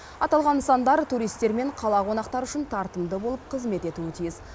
аталған нысандар туристер мен қала қонақтары үшін тартымды болып қызмет етуі тиіс